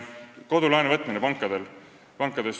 Kodulaenu võtmine pankadest.